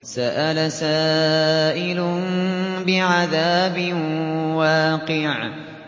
سَأَلَ سَائِلٌ بِعَذَابٍ وَاقِعٍ